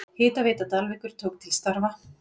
Hitaveita Dalvíkur tók til starfa.